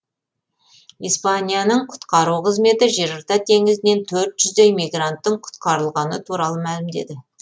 испанияның құтқару қызметі жерорта теңізінен төрт жүздей мигранттың құтқарылғаны туралы мәлімдеді